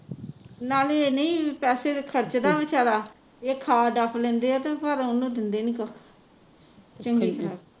ਨਾਲੇ ਨਹੀਂ ਪੈਸੇ ਖਰਚਦਾ ਵਿਚਾਰਾ ਇਹ ਖਾ ਡੱਫ ਲੈਂਦੇ ਆ ਤੇ ਪਰ ਓਹਨੂੰ ਦਿੰਦੇ ਨਹੀਂ ਕੁਸ਼